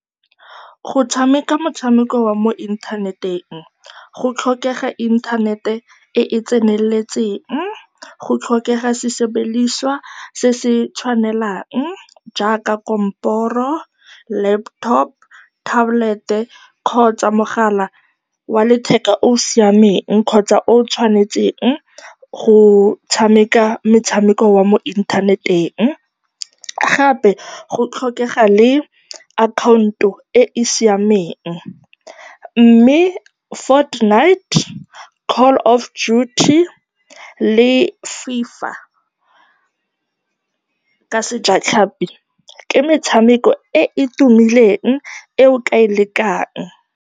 Go tshameka motshameko wa mo inthaneteng go tlhokega internet-e e e tseneletseng. Go tlhokega sesebediswa se se tshwanelang le jaaka kamporo, laptop, tablet-e kgotsa mogala wa letheka o o siameng kgotsa o o tshwanetseng go tshameka metshameko wa mo inthaneteng. Gape go tlhokega le account-o e e siameng mme Fort Knight, Call of Duty le FIFA ka sejatlhapi, ke metshameko e e tumileng e o ka e lekang.